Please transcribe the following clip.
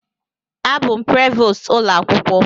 Abụ m Prevost ụlọ akwụkwọ.